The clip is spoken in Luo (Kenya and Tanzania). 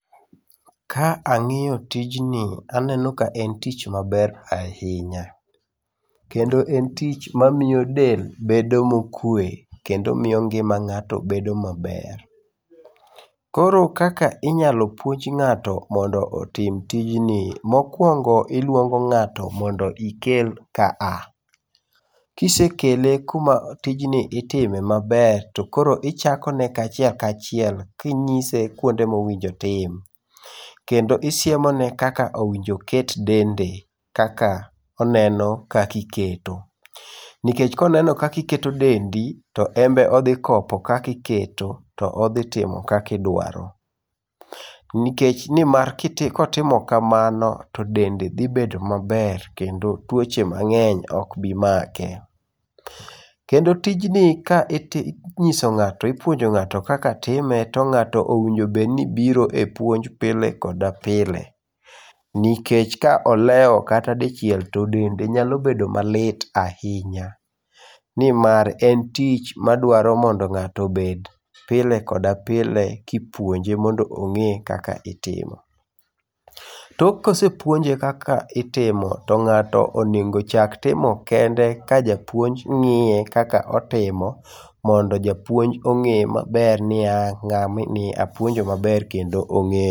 Ka ang'iyo tijni aneno ka en tich maber ahinya, kendo en tich ma miyo del bedo mokwe. Kendo miyo ngima ng'ato bedo maber. Koro kaka inyalo puonj ng'ato mondo otim tijni. Mokuongo iluongo ng'ato mondo ikel kaa. Kisekele kuma tij ni itime maber to koro ichakone kachiel kachiel kinyise kuonde monego otim. Kendo isiemone kaka owinjo oket dende kaka oneno kakiketo. Nikech koneno kakiketo dendi, to enbe odhi kopo kakiketo. Odhi timo kakidwaro. Nikech nimar kotimo kaman to dende dhi bedo maber kendo tuoche mang'eny ok bi make. Kendo tijni ka iti ka inyis ipuonjo ng'ato kaka time to ng'ato bedni biro epuon j pile koda pile, nikech ka olewo kata dichiel to dende nyalo bedo malit ahinya nimar en tich madwaro mondo ng'ato obed pile koda pile kipuonje mondo ong'e ka itimo. Tok kosepuonje kaka itimo to ng'ato onego chak timo kende kajapuonj ng'iye ka otimo mondo japuonj ong'e maber ni ng'ani apuonjo maber kendo ong'eyo.